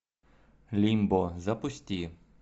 лимбо запусти